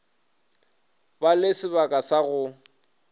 ba le sebaka sa go